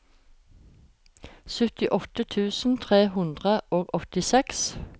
syttiåtte tusen tre hundre og åttiseks